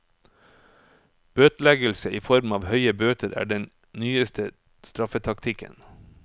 Bøteleggelse i form av høye bøter er den nyeste straffetaktikken.